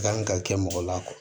Kan ka kɛ mɔgɔ la